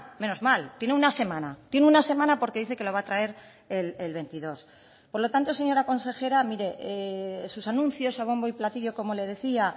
menos mal tiene una semana tiene una semana porque dice que lo va a traer el veintidós por lo tanto señora consejera mire sus anuncios a bombo y platillo como le decía